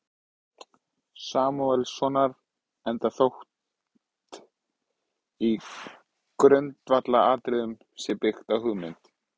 Samúelssonar, enda þótt í grundvallaratriðum sé byggt á hugmynd